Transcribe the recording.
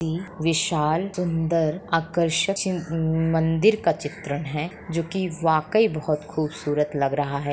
-ई विशाल सुंदर आकर्षक म-म-मंदिर का चित्रण है जो की वाक़ई बहुत खूबसूरत लग रहा है।